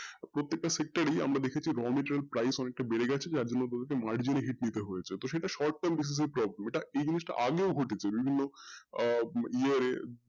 প্রত্যেক টা sector এই আমরা দেখেছি raw msterial অনেকটা বেড়ে গেছে তো এটা mergery hit এর short term basis আগেও ঘটেছে বিভিন্ন year এ